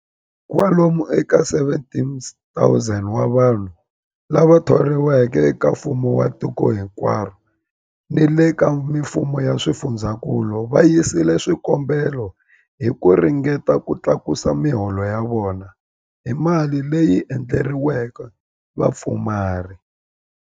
Kwalomu ka 17,000 wa vanhu lava thoriweke eka mfumo wa tiko hinkwaro ni le ka mifumo ya swifundzankulu va yisile swikombelo hi ku ringeta ku tlakusa miholo ya vona hi mali leyi endleriweke vapfumari.